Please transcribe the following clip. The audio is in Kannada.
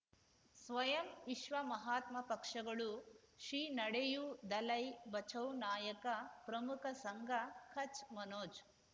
ಸ್ವಯಂ ವಿಶ್ವ ಮಹಾತ್ಮ ಪಕ್ಷಗಳು ಶ್ರೀ ನಡೆಯೂ ದಲೈ ಬಚೌ ನಾಯಕ ಪ್ರಮುಖ ಸಂಘ ಕಚ್ ಮನೋಜ್